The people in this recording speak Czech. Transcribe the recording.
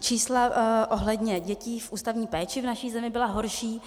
Čísla ohledně dětí v ústavní péči v naší zemi byla horší